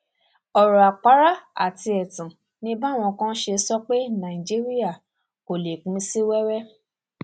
ọrọ àpárá àti ẹtàn ni báwọn kan ṣe ń sọ pé nàìjíríà kò lè pín sí wẹwẹ